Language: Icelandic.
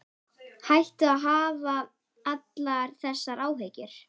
Hættu að hafa allar þessar áhyggjur.